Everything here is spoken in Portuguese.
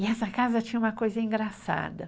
E essa casa tinha uma coisa engraçada.